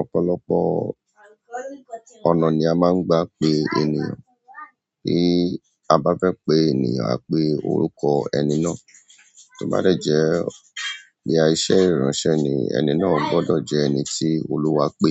Ọ̀pọ̀lọpọ̀ ọ̀nà ni a máa ń gba pé ènìyàn. Bí a bá fẹ́ pé ènìyàn, a pé orúkọ ẹni náà. To bá de jẹ́ boya iṣẹ́ ìránṣẹ́ ni, ẹni náà gbọ́dọ̀ jẹ́ ẹni tí oluwa pé.